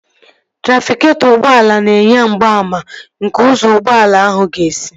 Trafịketọ ụgbọala na-enye mgbaàmà nke ụzọ ụgbọala ahụ ga-esi